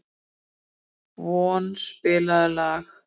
Von, spilaðu lag.